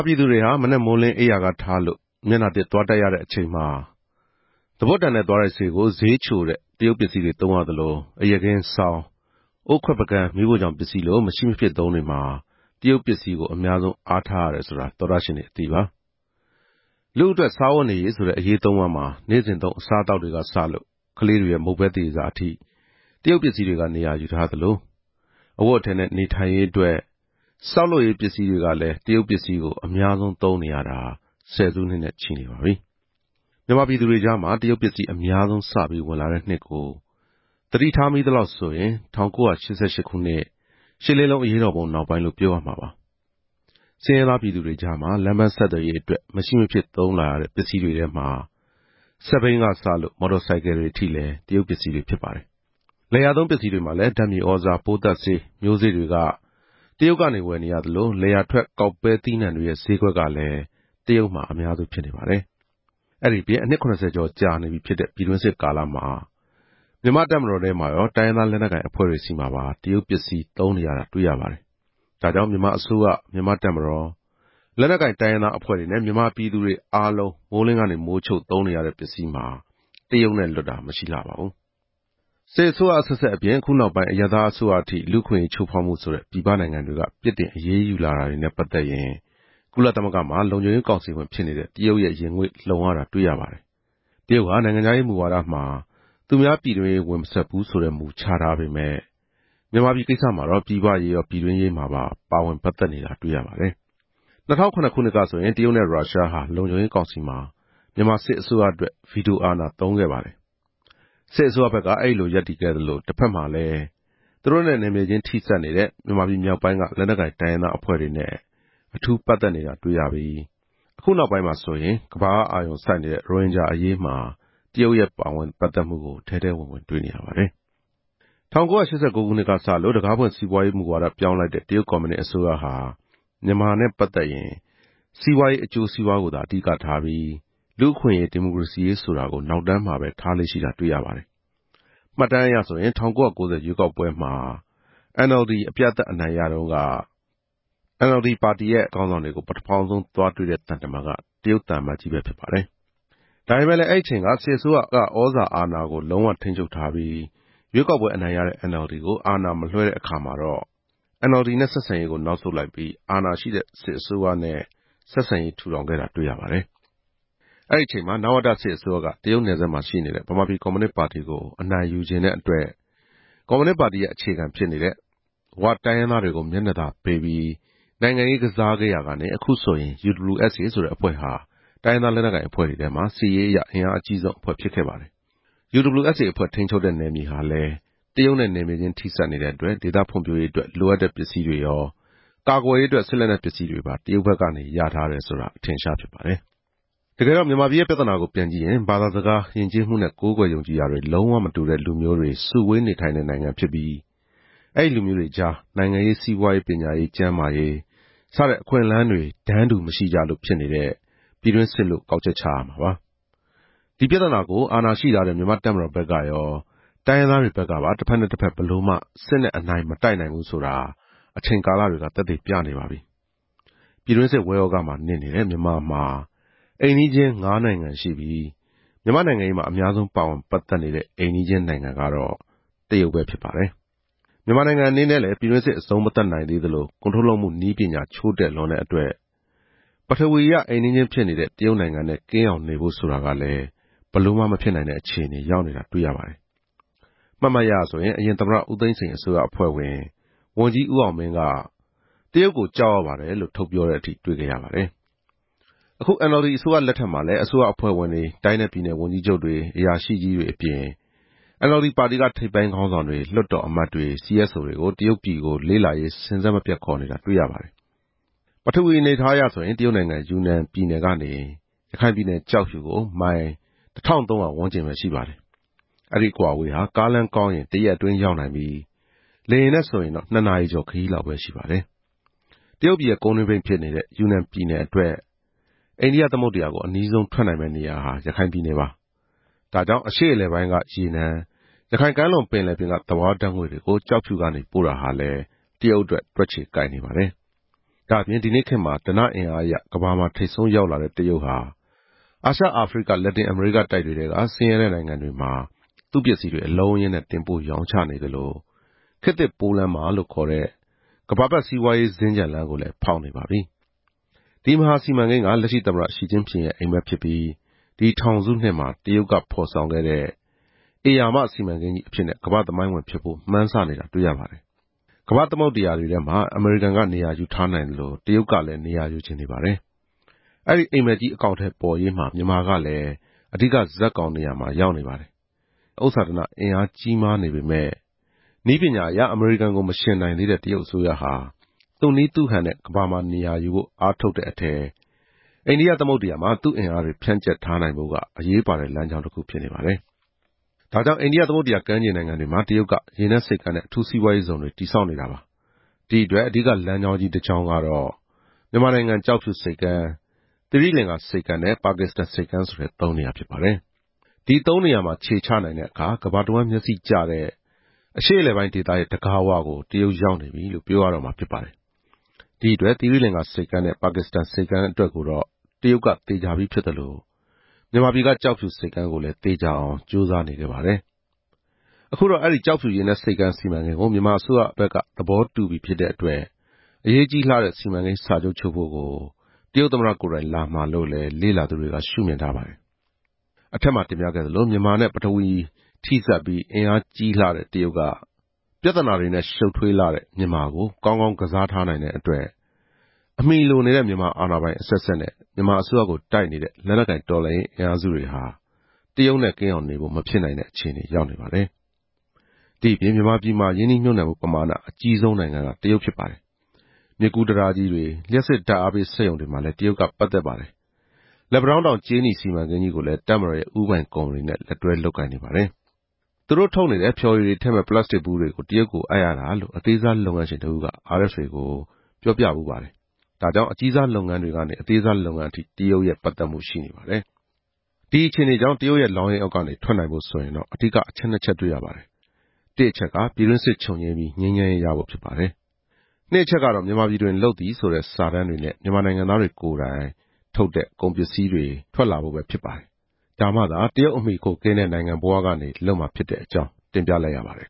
ပြည်သူတွေဟာ မနက်မိုးလင်းအိပ်ရာကထလို့ မျက်နှာသစ်သွားတိုက်ရတဲ့အချိန်မှာ သွားပွတ်တံနဲ့သွားတိုက်ဆေးကို ဈေးချိုတဲ့ တရုတ်ပစ္စည်းတွေ သုံးရသလို၊ အိပ်ယာခင်း၊ စောင်၊ အိုးခွက်ပန်းကန် မီးဖိုချောင်ပစ္စည်းလို မရှိမဖြစ်သုံးတွေမှာ တရုတ်ပစ္စည်းကို အများဆုံးအားထားနေရပါတယ်။ လူအတွက် စားဝတ်နေရေးဆိုတဲ့ အရေးသုံးပါးမှာ နေ့စဉ်သုံးအစားအသောက်တွေကစလို့၊ ကလေးတွေရဲ့ မုန့်ပဲသရေစာအထိ တရုတ်ပစ္စည်းတွေက နေရာယူထားသလို၊ အဝတ်အထည်နဲ့ နေထိုင်ရေးအတွက် ဆောက်လုပ်ရေးပစ္စည်းတွေကလည်း တရုတ်ပစ္စည်းကို အများဆုံးသုံးနေရတာ ဆယ်စုနှစ်နဲ့ ချီနေပါပြီ။ မြန်မာပြည်သူတွေကြားမှာ တရုတ်ပစ္စည်းအများဆုံးစပြီး ဝင်လာတဲ့နှစ်ကို သတိထားမိသလောက်ဆိုရင် ၁၉၈၈ ခုနှစ် ရှစ်လေးလုံးအရေးတော်ပုံနောက်ပိုင်းလို့ ပြောရမှာပါ။ ဆင်းရဲသားပြည်သူတွေကြား လမ်းပမ်းဆက်သွယ်ရေးအတွက် မရှိမဖြစ်သုံးလာရတဲ့ ပစ္စည်းတွေထဲမှာ စက်ဘီးကစလို့ မော်တော် ဆိုင်ကယ်တွေထိလဲ တရုတ်ပစ္စည်းတွေဖြစ်နေပါတယ်။ လယ်ယာသုံးပစ္စည်းတွေမှာလဲ ဓာတ်မြေသြဇာ၊ ပိုးသတ်ဆေး၊ မျိုးစေ့တွေက တရုတ်ကနေဝယ်နေရသလို၊ လယ်ယာထွက် ကောက်ပဲသီးနှံတွေရဲ့ဈေးကွက်ကလည်းတရုတ်မှာ အများစုဖြစ်နေပါတယ်။ အဲဒီအပြင် အနှစ် ၇ဝ ကျော်ကြာနေပြီဖြစ်တဲ့ ပြည်တွင်းစစ်ကာလမှာ မြန်မာ့တပ်မတော်ထဲမှာရော၊ တိုင်းရင်းသားလက်နက်ကိုင်အဖွဲ့တွေဆီမှာပါ တရုတ်ပစ္စည်းသုံး နေရတာ တွေ့ရပါတယ်။ ဒါကြောင့် မြန်မာအစိုးရ၊ မြန်မာ့တပ်မတော်၊ လက်နက်ကိုင်တိုင်းရင်းသားအဖွဲ့တွေနဲ့ မြန်မာပြည်သူတွေအားလုံး မိုးလင်းမိုးချုပ် သုံးနေတဲ့ပစ္စည်းမှာ တရုတ်နဲ့လွတ်တာမရှိလှပါဘူး။ "တရုတ်ရဲ့အကာအကွယ်" စစ်အစိုးရအဆက်ဆက်အပြင် အခုနောက်ပိုင်း အရပ်သားအစိုးရအထိ လူ့အခွင့်အရေးချိုးဖောက်မှုဆိုတဲ့ ပြည်ပနိုင်ငံတွေက ပြစ်တင်အရေးယူလာတာတွေနဲ့ ပတ်သက်ရင် ကုလသမဂ္ဂမှာ လုံခြုံရေးကောင်စီဝင်ဖြစ်နေတဲ့ တရုတ်ရဲ့ ရင်ငွေ့လှုံရတာတွေ့ရပါတယ်။ တရုတ်ဟာ နိုင်ငံခြားရေးမူဝါဒမှာ သူများပြည်တွင်းရေးဝင်မစွက်ဘူးဆိုတဲ့မူ ချထားပေမယ့် မြန်မာပြည်ကိစ္စမှာတော့ ပြည်ပရေးရော၊ ပြည်တွင်းရေးမှာပါ ပါဝင်ပတ်သက်တာတွေ့ရပါတယ်။ ၂ဝဝ၇ ခုနှစ်ကဆိုရင် တရုတ်နဲ့ရုရှားဟာ လုံခြုံရေးကောင်စီမှာ မြန်မာစစ်အစိုးရအတွက် ဗီတိုအာဏာသုံးခဲ့ပါတယ်။ စစ်အစိုးရဘက်က အဲဒီလိုရပ်တည်ခဲ့သလို တဖက်မှာလည်း တရုတ်နဲ့နယ်မြေချင်းထိစပ်နေတဲ့ မြန်မာပြည်မြောက်ပိုင်းက လက်နက်ကိုင်တိုင်းရင်းသားအဖွဲ့တွေနဲ့ အထူးပတ်သက်နေတာတွေ့ရပြီး အခုနောက်ပိုင်းမှာဆိုရင် ကမ္ဘာကအာရုံစိုက်နေတဲ့ ရိုဟင်ဂျာအရေးမှာ တရုတ်ရဲ့ပတ်သက်မှုကို ထဲထဲဝင်ဝင်တွေ့နေရပါတယ်။ "မြန်မာ့ဒီမိုကရေစီရေးအပေါ် တရုတ်ရဲ့ရပ်တည်ချက်" ၁၉၈၉ ခုနှစ်ကစလို့ တံခါးဖွင့်စီးပွားရေးမူဝါဒ ပြောင်းလိုက်တဲ့ တရုတ်ကွန်မြူနစ်အစိုးရဟာ မြန်မာနိုင်ငံနဲ့ ပတ်သက်ရင်လည်း စီးပွားရေးအကျိုးစီးပွားကိုသာ အဓိကထားပြီး လူ့အခွင့်အရေး ဒီမိုကရေစီရေးဆိုတာကို နောက်တမ်းမှာပဲထားလေ့ရှိတာ တွေ့ရပါတယ်။ မှတ်တမ်းအရဆိုရင် ၁၉၉ဝ ရွေးကောက်ပွဲမှာ NLD အမျိုးသားဒီမိုကရေစီအဖွဲ့ချုပ် အပြတ်အသတ်အနိုင်ရတုန်းက NLD ခေါင်းဆောင်တွေကို ပထမဆုံးသွားတွေ့တဲ့ သံတမန်က တရုတ်သံအမတ်ကြီးပဲဖြစ်ပါတယ်။ ဒါပေမယ့်လည်း အဲဒီအချိန်က စစ်အစိုးရက သြဇာအာဏာကို လုံးဝထိန်းချုပ်ထားပြီး ရွေးကောက်ပွဲအနိုင်ရတဲ့ NLD ကို အာဏာမလွှဲတဲ့အခါမှာတော့ NLD နဲ့ဆက်ဆံရေးကို နောက်ဆုတ်လိုက်ပြီး အာဏာရှိတဲ့စစ်အစိုးရနဲ့ ဆက်ဆံရေးထူထောင်ခဲ့တာ တွေ့ရပါတယ်။ အဲဒီအချိန်မှာ နဝတစစ်အစိုးရက တရုတ်နယ်စပ်မှာရှိနေတဲ့ ဗမာပြည်ကွန်မြူနစ်ပါတီကို အနိုင်ယူချင်တဲ့အတွက် ကွန်မြူနစ်ပါတီရဲ့အခြေခံဖြစ်နေတဲ့ ဝ တိုင်းရင်းသားတွေကို မျက်နှာသာပေးပြီး နိုင်ငံရေးကစားခဲ့ရာကနေ အခုဆိုရင် UWSA ဆိုတဲ့အဖွဲ့ဟာ တိုင်းရင်းသားလက်နက်ကိုင်အဖွဲ့တွေထဲမှာ စစ်ရေးအရအင်အားအကြီးဆုံးအဖွဲ့ဖြစ်ခဲ့ပါတယ်။ UWSA အဖွဲ့ထိန်းချုပ်တဲ့နယ်မြေဟာလည်း တရုတ်နဲ့ နယ်မြေချင်းထိစပ်နေတဲ့အတွက် ဒေသဖွံ့ဖြိုးရေးအတွက် လိုအပ်တဲ့ပစ္စည်းတွေရော၊ ကာကွယ်ရေးအတွက် စစ်လက်နက်ပစ္စည်းတွေပါ တရုတ်ဘက်ကနေ ရထားတယ်ဆိုတာ အထင်အရှားဖြစ်ပါတယ်။ "တရုတ်ရဲ့မြန်မာ့ပြည်တွင်းရေးပတ်သက်မှု" တကယ်တော့ မြန်မာပြည်ရဲ့ပြဿနာကိုပြန်ကြည့်ရင်၊ ဘာသာစကား၊ ယဉ်ကျေးမှုနဲ့ ကိုးကွယ် ယုံကြည်ရာတွေ လုံးဝမတူတဲ့လူမျိုးတွေ စုဝေးနေထိုင်တဲ့ နိုင်ငံဖြစ်နေပြီး အဲဒီလူမျိုးတွေကြား နိုင်ငံရေး စီးပွားရေး ပညာရေး ကျန်းမာရေး စတဲ့အခွင့်အလမ်းတွေ တန်းတူမရှိကြလို့ ဖြစ်နေတဲ့ ပြည်တွင်းစစ်လို့ ကောက်ချက်ချရမှာပါ။ ဒီပြဿနာကို အာဏာရှိထားတဲ့ မြန်မာ့တပ်မတော်ဘက်ကရော၊ တိုင်းရင်းသားတွေဘက်ကပါ တဖက်နဲ့တဖက် ဘယ်လိုမှစစ်နဲ့အနိုင်မတိုက်နိုင်ဘူးဆိုတာ အချိန်ကာလတွေက သက်သေပြနေပါပြီ။ ပြည်တွင်းစစ် ဝဲဂယက်မှာနစ်နေတဲ့ မြန်မာမှာအိမ်နီးချင်း ငါးနိုင်ငံရှိပြီး၊ မြန်မာ့နိုင်ငံရေးမှာ အများဆုံးပါဝင်ပတ်သက်နေတဲ့ အိမ်နီးချင်းနိုင်ငံဟာ တရုတ်နိုင်ငံပဲဖြစ်နေပါတယ်။ မြန်မာနိုင်ငံအနေနဲ့လဲ ပြည်တွင်းစစ်အဆုံးမသတ်နိုင်သေးသလို ကုန်ထုတ်လုပ်မှုနည်းပညာ ချို့တဲ့လွန်းတဲ့အတွက် ပထဝီအရအိမ်နီးချင်းဖြစ်နေတဲ့ တရုတ်နိုင်ငံနဲ့ ကင်းအောင်နေဖို့ဆိုတာကလည်း ဘယ်လိုမှမဖြစ်နိုင်တဲ့အခြေအနေရောက်နေတာတွေ့ရပါတယ်။ မှတ်မှတ်ရရဆိုရင် အရင်သမ္မတ ဦးသိန်းစိန်အစိုးရအဖွဲ့ဝင် ဝန်ကြီးဦးအောင်မင်းက - တရုတ်ကိုကြောက်ရပါတယ်လို့ ထုတ်ပြောတဲ့အထိ တွေ့ခဲ့ရပါတယ်။ အခု NLD အစိုးရလက်ထက်မှာလဲ အစိုးရအဖွဲ့ဝင်တွေ၊ တိုင်းနဲ့ပြည်နယ်ဝန်ကြီးချုပ်တွေ ၊ အရာရှိကြီး တွေအပြင် NLD ပါတီက ထိပ်ပိုင်းခေါင်းဆောင်တွေ၊ လွှတ်တော်အမတ်တွေကို တရုတ်ပြည်ကို လေ့လာရေး စဉ်ဆက်မပြတ်ခေါ်နေတာတွေ့ရပါတယ်။ "တရုတ်ရဲ့ အိန္ဒိယသမုဒ္ဒရာလွှမ်းမိုးရေးအိပ်မက်နဲ့မြန်မာနိုင်ငံ" ပထဝီအနေအထားအရဆိုရင် တရုတ်နိုင်ငံ ယူနန်ပြည်နယ်ကနေ ရခိုင်ပြည်နယ် ကျောက်ဖြူကို မိုင် တစ်ထောင့်သုံးရာဝန်းကျင်ပဲရှိပါတယ်။ ဒီအကွာအဝေးဟာ ကားလမ်းကောင်းရင် တရက်အတွင်း ရောက်နိုင်ပြီး၊ လေယာဉ်နဲ့ ဆိုရင်တော့ နှစ်နာရီကျော် ခရီးလောက်ပဲရှိပါတယ်။တရုတ်ပြည်ရဲ့ကုန်းတွင်းပိတ်ဖြစ်နေတဲ့ ယူနန်ပြည်နယ်အတွက် အိန္ဒိယသမုဒ္ဒရာကို အနီးဆုံးထွက်နိုင်မယ့်နေရာဟာ ရခိုင်ပြည်နယ် ဖြစ်နေပါတယ်။ ဒါကြောင့် အရှေ့အလယ်ပိုင်းက ရေနံ၊ ရခိုင်ကမ်းလွန်ပင်လယ်ပြင်က သဘာဝဓာတ်ငွေ့တွေကို ကျောက်ဖြူကနေ ပို့တာဟာ တရုတ်အတွက် တွက်ခြေကိုက်နေပါတယ်။ ဒါ့အပြင် ဒီနေ့ခေတ်မှာ ဓနအင်အားအရ ကမ္ဘာမှာထိပ်ဆုံးရောက်လာတဲ့ တရုတ်ဟာ အာရှ၊ အာဖရိက၊ လက်တင်အမေရိကတိုက်တွေထဲက ဆင်းရဲတဲ့နိုင်ငံတွေမှာ သူ့ပစ္စည်းတွေ အလုံးအရင်းနဲ့ တင်ပို့ရောင်းချနေသလို၊ ခေတ်သစ်ပိုးလမ်းမလို့ခေါ်တဲ့ ကမ္ဘာပတ်စီးပွားရေးစင်္ကြန်လမ်းကိုလဲ ဖောက်နေပါပြီ။ ဒီမဟာစီမံကိန်းက လက်ရှိသမ္မတ ရှီကျင်းဖျင်ရဲ့အိပ်မက်ဖြစ်ပြီး ဒီထောင်စုနှစ်မှာ တရုတ်က ဖော်ဆောင်ခဲ့တဲ့ ဧရာမစီမံကိန်းကြီးအဖြစ်နဲ့ ကမ္ဘာ့သမိုင်းဝင်ဖြစ်ဖို့ မှန်းဆနေတာတွေ့ရပါတယ်။ ကမ္ဘာ့သမုဒ္ဒရာတွေထဲမှာ အမေရိကန်က နေရာယူထားနိုင်သလို၊ တရုတ်ကလည်း နေရာယူချင်နေပါ တယ်။ အဲဒီအိပ်မက်ကြီး အကောင်အထည်ပေါ်ရေးမှာ မြန်မာကလဲ အဓိကဇာတ်ကောင်နေရာမှာ ရောက်နေပါတယ်။ ဒါပေမယ့် ဥစ္စာဓနအင်အားကြီးမားနေပေမယ့် နည်းပညာအရ အမေရိကန်ကို မယှဉ်နိုင်သေးတဲ့ တရုတ်အစိုးရဟာ သူ့နည်းသူဟန်နဲ့ ကမ္ဘာမှာနေရာယူဖို့ အားထုတ်တဲ့အထဲ၊ အိန္ဒိယသမုဒ္ဒရာမှာ သူ့အင်အားတွေ ဖြန့်ကျက်ထားနိုင်ဖို့က အရေးပါတဲ့လမ်းကြောင်းတခုဖြစ်နေပါတယ်။ ဒါကြောင့် အိန္ဒိယသမုဒ္ဒရာကမ်းခြေနိုင်ငံတွေမှာ တရုတ်က ရေနက်ဆိပ်ကမ်းနဲ့ အထူးစီးပွားရေးဇုံတွေ တည်ဆောက်နေတာပါ။ ဒီအတွက် အဓိကလမ်းကြောင်းကြီးတကြောင်းကတော့ မြန်မာနိုင်ငံ ကျောက်ဖြူဆိပ်ကမ်း၊ သီရိလင်္ကာဆိပ်ကမ်းနဲ့ ပါကစ္စတန်ဆိပ်ကမ်း ဆိုတဲ့ သုံးနေရာဖြစ်ပါတယ်။ ဒီသုံးနေရာမှာခြေချနိုင်တဲ့အခါ ကမ္ဘာတဝှမ်းမျက်စိကျတဲ့ အရှေ့အလယ်ပိုင်းဒေသရဲ့ တံခါးဝကို တရုတ်ရောက်နေပြီလို့ ပြောရတော့မှာဖြစ်ပါတယ်။ ဒီအတွက် သီရိလင်္ကာဆိပ်ကမ်းနဲ့ ပါကစ္စတန်ဆိပ်ကမ်းအတွက်ကိုတော့ တရုတ်ကသေချာပြီးဖြစ်သလို မြန်မာပြည်က ကျောက်ဖြူဆိပ်ကမ်းကိုလဲ သေချာအောင် ကြိုးစားနေခဲ့ပါတယ်။ အခုတော့ အဲဒီကျောက်ဖြူရေနက်ဆိပ်ကမ်းစီမံကိန်းကို မြန်မာအစိုးရဘက်က သဘောတူပြီဖြစ်တဲ့အတွက် အရေးကြီးလှတဲ့စီမံကိန်း စာချုပ်ချုပ်ဖို့ကို တရုတ်သမ္မတကိုယ်တိုင်လာမှာလို့လည်း လေ့လာသူတွေက ရှုမြင်ထားပါတယ်။ "မြန်မာ့ထွက်ရပ်" အထက်မှာတင်ပြခဲ့သလို မြန်မာနဲ့ပထဝီမြေထိစပ်ပြီး အင်အားကြီးလှတဲ့ တရုတ်က ပြဿနာတွေနဲ့ ရှုပ်ထွေးလွန်းတဲ့မြန်မာကို ကောင်းကောင်းကစားထားနိုင်တဲ့အတွက် အမှီလိုနေတဲ့ မြန်မာအာဏာပိုင်အဆက်ဆက်နဲ့ မြန်မာအစိုးရကို တိုက်နေတဲ့ လက်နက်ကိုင်တော်လှန်ရေးအင်အားစုတွေဟာ တရုတ်နဲ့ ကင်းအောင်နေဖို့ မဖြစ်နိုင်တဲ့အခြေအနေရောက်နေပါတယ်။ ဒီ့အပြင် မြန်မာပြည်မှာ ရင်းနှီးမြှုပ်နှံမှုပမာဏ အကြီးဆုံးနိုင်ငံက တရုတ်ဖြစ်ပါတယ်။ မြစ်ကူးတံတားကြီးတွေ၊ လျှပ်စစ်ဓာတ်အားပေးစက်ရုံတွေမှာလည်း တရုတ်က ပတ်သက်နေပါတယ်။ လက်ပံတောင်းတောင် ကြေးနီစီမံကိန်းကြီးကိုလည်း တပ်မတော်ရဲ့ဦးပိုင်ကုမ္ပဏီနဲ့ လက်တွဲလုပ်ကိုင်နေပါတယ်။ အသေးစားလုပ်ငန်းရှင်တဦးက - သူတို့ထုတ်နေတဲ့ ဖျော်ရည်တွေထည့်မယ့် ပလတ်စတစ်ဗူးတွေကို တရုတ်ကိုအပ်ရတာလို့ RFA ကို ပြောပြပါတယ်။ ဒါကြောင့် အကြီးစားစက်မှုလုပ်ငန်းတွေကနေ၊ အသေးစားလုပ်ငန်းထိ တရုတ်ရဲ့ပတ်သက်မှုလည်း ရှိနေပါတယ်။ ဒီအခြေအနေကြောင့် တရုတ်ရဲ့လောင်းရိပ်အောက်ကနေ ထွက်နိုင်ဖို့ဆိုရင်တော့ အဓိကအချက် နှစ်ချက်တွေ့ရပါတယ်။ တစ်အချက်က ပြည်တွင်းစစ်ချုပ်ငြိမ်းပြီး ငြိမ်းချမ်းရေးရဖို့ဖြစ်ပါတယ်။ နှစ်အချက်ကတော့ မြန်မာပြည်တွင်လုပ်သည် ဆိုတဲ့စာတမ်းတွေနဲ့ မြန်မာနိုင်ငံသားတွေကိုယ်တိုင် ကုန်ပစ္စည်းတွေထုတ်လုပ်နိုင်ဖို့ ပဲဖြစ်ပါတယ်။ ဒါမှသာ တရုတ်အမှီခိုကင်းတဲ့နိုင်ငံဘဝကနေ လွတ်မှာဖြစ်တဲ့အကြောင်း တင်ပြလိုက်ရပါတယ်